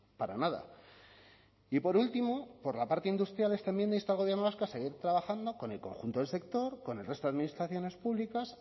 para nada y por último por la parte industrial esta enmienda insta al gobierno vasco a seguir trabajando con el conjunto del sector con el resto de administraciones públicas